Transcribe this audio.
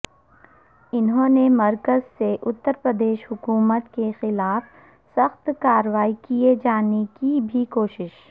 انہوں نے مرکز سے اترپردیش حکومت کے خلاف سخت کارروائی کئے جانے کی بھی کوشش